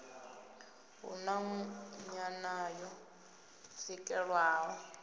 hu na nyanano yo swikelelwaho